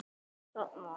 Hvort þú mátt!